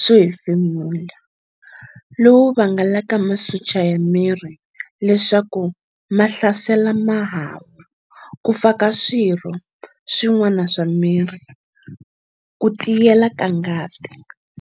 swo hefemula lowu vangelaka masocha ya miri leswaku mahlasela mahahu, kufa ka swirho swin'wana swa miri, kutiyelela ka ngati.